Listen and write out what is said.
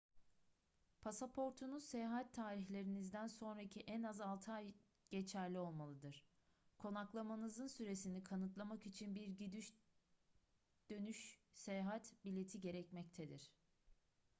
pasaportunuz seyahat tarihlerinizden sonraki en az 6 ay geçerli olmalıdır konaklamanızın süresini kanıtlamak için bir gidiş dönüş seyahat bileti gerekmektedir